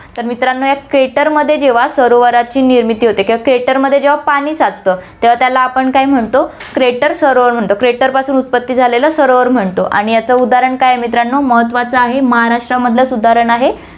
तर मित्रांनो, या crater मध्ये जेव्हा सरोवराची निर्मिती होते किंवा crater मध्ये जेव्हा पाणी साचतं, तेव्हा त्याला आपण काय म्हणतो, crater सरोवर म्हणतो, crater पासून उत्पत्ति झालेलं सरोवर म्हणतो आणि याचं उदाहरण काय आहे मित्रांनो, महत्वाचं आहे महाराष्ट्रामधलचं उदाहरण आहे.